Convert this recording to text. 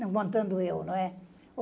Levantando eu, não é?